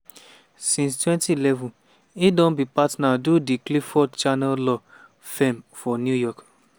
since 2011 e don be partner do di clifford chance law firm for new york.